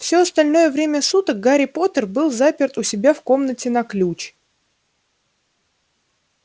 всё остальное время суток гарри поттер был заперт у себя в комнате на ключ